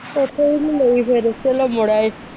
ਉਥੋ ਵੀ ਨੀ ਲਈ ਫਿਰ ਮੁੜ ਆਏ।